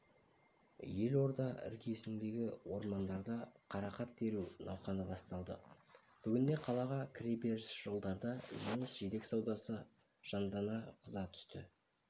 елорда іргесіндегі ормандарда қарақат теру науқаны басталды бүгінде қалаға кіреберіс жолдарда жеміс-жидек саудасы жандана қыза түсті